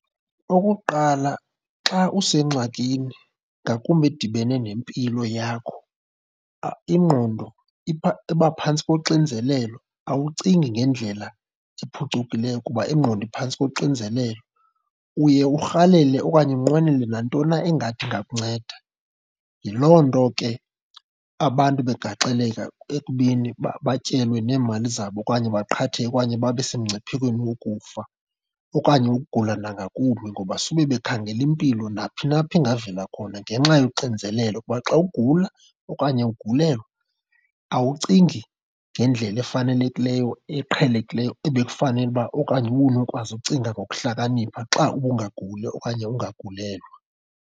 Okokuqala, xa usengxakini ngakumbi edibene nempilo yakho, ingqondo iba phantsi koxinzelelo, awucingi ngendlela ephucukileyo kuba ingqondo iphantsi koxinzelelo. Uye urhalele okanye unqwenele nantoni na engathi ingakunceda. Yiloo nto ke abantu begaxeleka ekubeni batyelwe neemali zabo okanye baqhatheke, okanye babe semngciphekweni wokufa okanye ukugula nangakumbi. Ngoba sube bekhangela impilo naphina apho ingavela khona ngenxa yoxinzelelo. Kuba xa ugula okanye ugulelwa awucingi ngendlela efanelekileyo, eqhelekileyo ebekufanele uba okanye ubunokwazi ukucinga ngokuhlakanipha xa ubungaguli okanye ungagalelwa.